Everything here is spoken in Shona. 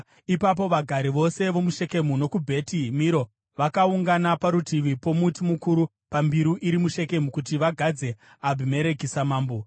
Ipapo vagari vose vomuShekemu nokuBheti Miro vakaungana parutivi pomuti mukuru pambiru iri muShekemu kuti vagadze Abhimereki samambo.